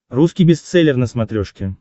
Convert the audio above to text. русский бестселлер на смотрешке